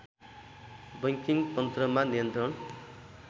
banking तन्त्रमा नियन्त्रण